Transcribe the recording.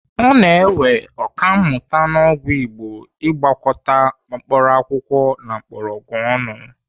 Ọ na-ewe Ọkammụta n'ọgwụ igbo Ị gwakọta mkpaakwụkwọ na mgbọrọgwụ ọnụ.